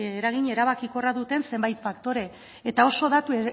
eragin erabakikorra duten zenbait faktore eta oso datu